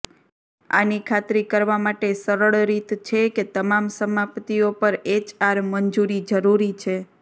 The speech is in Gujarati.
આની ખાતરી કરવા માટે સરળ રીત છે કે તમામ સમાપ્તિઓ પર એચઆર મંજૂરી જરૂરી છે